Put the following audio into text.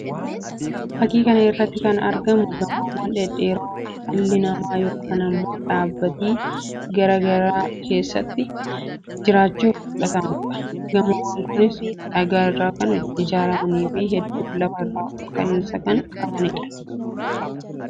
Fakkii kana irratti kan argamu gamoowwan dhedheeroo dhalli namaa yookii immoo dhaabbati garaa garaa keessaa jiraachuuf fudhatuudha. Gamoowwan kunis dhagaa irraa kan ijaaramanii fi hedduu lafa irraa olka'anii kan jiranii dha.